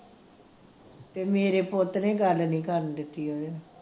ਤੇ ਮੇਰੇ ਪੁੱਤ ਨੇ ਗੱਲ ਨੀ ਕਰਨ ਦਿੱਤੀ ਉਹਨੂੰ